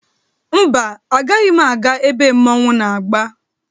Mba, agaghị m aga ebe mmọnwụ na-agba.